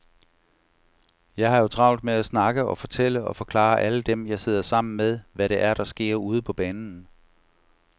Jeg har jo travlt med at snakke og fortælle og forklare alle dem, jeg sidder sammen med, hvad det er, der sker ude på banen.